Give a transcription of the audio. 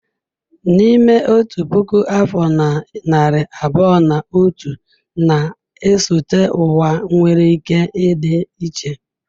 N'ime otu puku afọ na narị abụọ na atọ na-esote ụwa nwere ike ịdị iche.